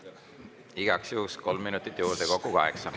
Igaks juhuks kolm minutit juurde, kokku kaheksa.